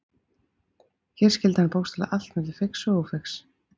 Hér skildi hann bókstaflega milli feigs og ófeigs.